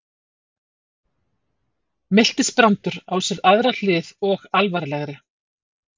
Miltisbrandur á sér aðra hlið og alvarlegri.